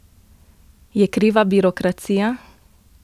Je kriva birokracija?